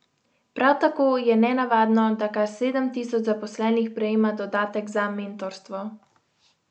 Prav tako je nenavadno, da kar sedem tisoč zaposlenih prejema dodatek za mentorstvo.